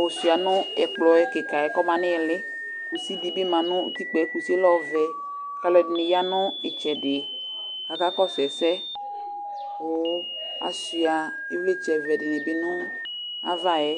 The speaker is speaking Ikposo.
ɔsua nɛkplɔ kika buakɔma nilɩ Kʊsɩ dibi ma nʊtikpaɛ, kʊsɩ yɛ lɛ ɔvɛ Kalʊɛdini ya nitsɛdɩ kakakɔsu ɛsɛ, kasua ɩvlɩtsɛ vɛ dinibi nu avayɛ